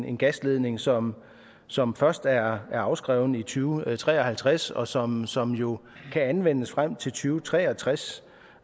en gasledning som som først er afskrevet i to tusind og tre og halvtreds og som som jo kan anvendes frem til to tre og tres